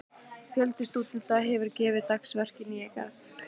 Fjöldi stúdenta hefur gefið dagsverk í Nýja-Garð.